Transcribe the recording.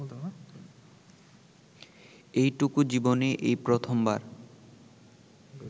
এইটুকু জীবনে এই প্রথমবার